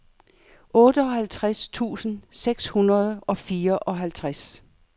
otteoghalvtreds tusind seks hundrede og fireoghalvtreds